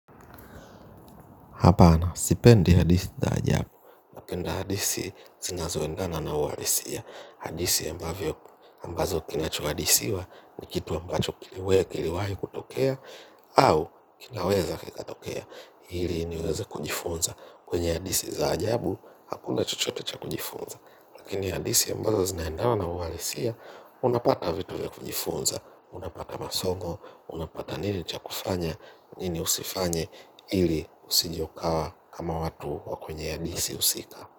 Hapana, sipendi hadithi za ajabu. Napenda hadisi zina zoendana na uhalisia hadisi ambavyo ambazo kinachoadisiwa ni kitu ambacho kiliwe kiliwai kutokea au kinaweza kikatokea. Hili niweza kujifunza kwenye hadisi za ajabu hakuna chochotecha kujifunza. Lakini hadisi ambazo zinaendana na uhalisia unapata vitu vya kujifunza. Unapata masongo, unapata nini chakufanya, nini usifanye, ili usije ukawa kama watu wakwenye ya DC usika.